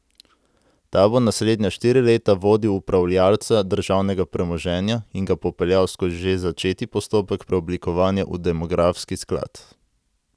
Ta bo naslednja štiri leta vodil upravljalca državnega premoženja in ga popeljal skozi že začeti postopek preoblikovanja v demografski sklad.